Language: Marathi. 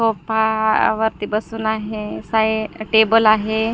सोफा वरती बसून आहे साहे टेबल आहे.